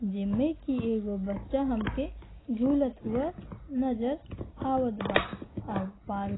जेमें कि एगो बच्चा हमके झूलत हुए नज़र आवत बा और पाल --